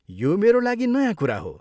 यो मेरा लागि नयाँ कुरा हो।